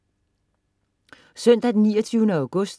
Søndag den 29. august